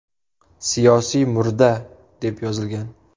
Siyosiy murda” deb yozilgan.